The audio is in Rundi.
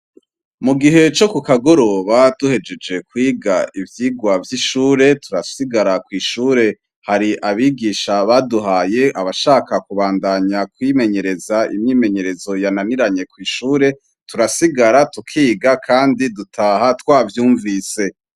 Mu gihe co kukagoroba duhejeje kwiga ivyigwa vy'ishure, turasigara kw'ishure hari abigisha baduhaye abashaka kubandanya kwimenyereza imyimenyerezo yananiranye kw'ishure, turasigara tukiga kandi dutaha twavyumvise.